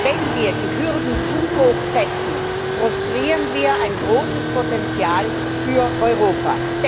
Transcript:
Wenn wir die Hürden zu hoch setzen, frustrieren wir ein großes Potential für Europa.